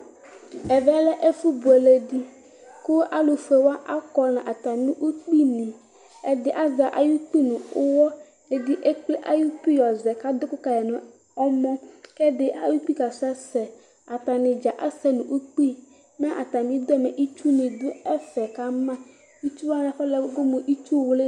Ɛvɛ lɛ ɛfʊ bʊele dɩ kʊ alʊfʊewa akɔ natamɩ ʊkpɩ nɩ Ɛdɩ azɛ aƴʊ ʊkpɩ nʊyɔ, ɛdɩ ekple aƴʊ ʊkpɩ yɔzɛ kadʊ ʊkʊ kaƴɩ nɔmɔ, kɛdɩ ayʊ ʊkpɩ ka sɛsɛ Atanɩdza asɛ nʊ ʊkpɩ Mɛ atmɩ ʊdʊ ɩtsʊ nɩ dʊ efɛ kama Ɩtsʊ wanɩ afɔlɛ mʊ ɩtsʊ wlɩ